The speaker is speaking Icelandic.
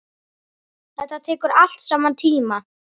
Þetta tekur allt saman tíma.